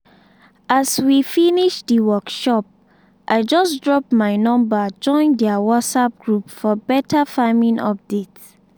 as we finish the workshop i just drop my number join their whatsapp group for better farming updates